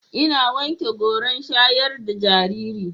Ina wanke goran shayar da jariri.